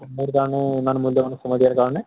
ইমান মুল্য়বান সময় দিয়া কাৰণে